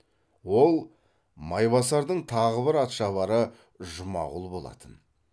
ол майбасардың тағы бір атшабары жұмағұл болатын